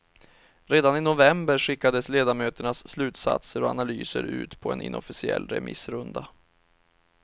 Redan i november skickades ledamöternas slutsatser och analyser ut på en inofficiell remissrunda.